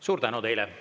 Suur tänu teile!